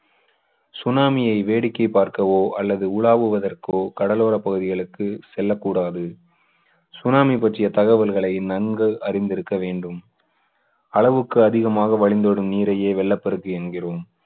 சுனாமியை வேடிக்கை பார்க்கவோ அல்லது உலாவுவதற்கோ கடலோரப் பகுதிகளுக்கு செல்லக்கூடாது. சுனாமி பற்றிய தகவல்களை நன்கு அறிந்திருக்க வேண்டும். அளவுக்கு அதிகமாக வழிந்தோடும் நீரையே வெள்ளப்பெருக்கு என்கிறோம்.